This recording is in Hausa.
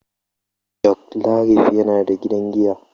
Joclarif yana da gidan giya.